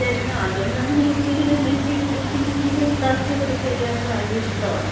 അപ്പൊ ഞാൻ വിചാരിക്കണ, അത് കൊണ്ടാണ് ഞാൻ കൂടുതലും എനിക്ക് ഈ കുർത്തീസും കുർത്താസുംക്കെ ചെയ്യാനൊക്കെ ഭയങ്കര ഇഷ്ടാണ്.